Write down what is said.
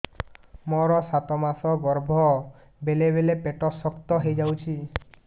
ମୋର ସାତ ମାସ ଗର୍ଭ ବେଳେ ବେଳେ ପେଟ ଶକ୍ତ ହେଇଯାଉଛି